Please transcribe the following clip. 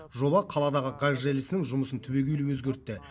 жоба қаладағы газ желісінің жұмысын түбегейлі өзгертті